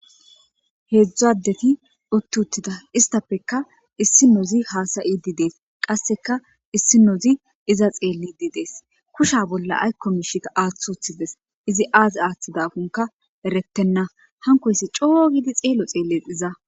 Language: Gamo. heedzdzu addeti utti uttida istappeka issinozi haasayidi dees qasseka issinozi iza xeellidi dees kusha bolla aykko miisha aaththi wothides izi azi aaththidanka erettenna hankoyssi coo gidi xeelo xeelle iza